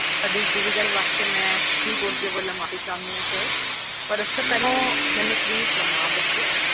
ਤੁਹਾਡੀ ਇਸ ਦੁਵਿਧਾ ਵਾਸਤੇ ਮੈਂ speedpost ਵੱਲੋਂ ਮਾਫੀ ਚਾਹੁਣੀ ਆ ਪਾਰ ਉਸ ਤੋਂ ਪਹਿਲਾਂ ਮੈਨੂੰ ਆਪਣਾ ਨਾਮ ਦੱਸਿਓ